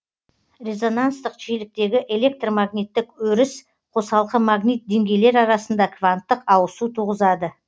резонанстық жиіліктегі электр магниттік өріс қосалқы магнит деңгейлер арасында кванттық ауысу туғызады